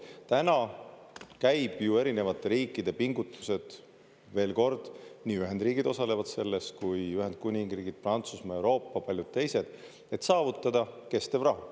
Täna käib erinevate riikide pingutused – veel kord, nii Ühendriigid osalevad selles kui Ühendkuningriik, Prantsusmaa, Euroopa, paljud teised –, et saavutada kestev rahu.